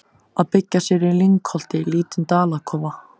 Að byggja sér í lyngholti lítinn dalakofa.